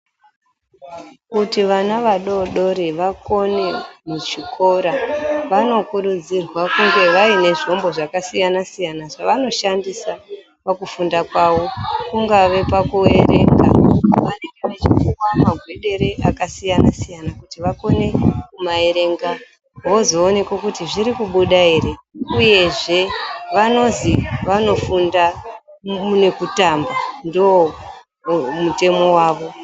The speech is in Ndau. Kuti vana vadoodori vakone muzvikoro vanokurudzirwa kunge vaine zvombo zvakasiyana-siyana zvavanoshandisa pakufunda kwavo. Kungave pakuerenga, vanenge vachipuwa magwedere akasiyana-siyana kuti vakone kumaerenga vozooneke kuti zvirikubuda here. Uyezve vanozi vanofunda nekutamba, ndoomutemo wavo.